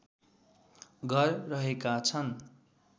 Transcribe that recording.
घर रहेका छन्